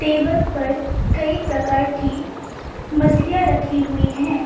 Table पर कई प्रकार की मछलियां रखी हुई हैं।